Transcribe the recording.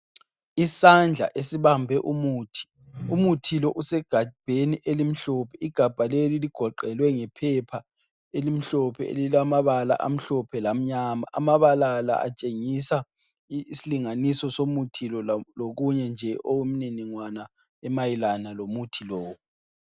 Isandla esibambe umuthi. Umuthi lo usegabheni elimhlophe. Igabha leli ligoqelwe ngephepha elimhlophe elilamabala amhlophe lamnyama. Amabala la atshengisa isilinganiso somuthi lo lokunye nje okumniningwana emayelana lomuthi lo.